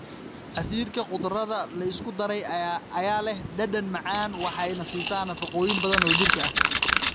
Casiirka khudradda la isku daray ayaa leh dhadhan macaan waxayna siisaa nafaqooyin badan oo jirka ah.